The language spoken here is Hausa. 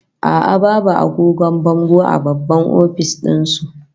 A'a, babu agogon bango a babban office din su